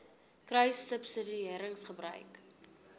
kruissubsidiëringgebruik